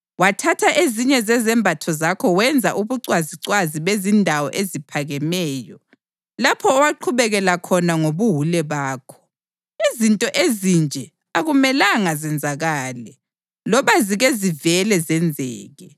Wathatha ezinye zezembatho zakho wenza ubucwazicwazi bezindawo eziphakemeyo, lapho owaqhubekela khona ngobuwule bakho. Izinto ezinje akumelanga zenzakale, loba zike zivele zenzeke.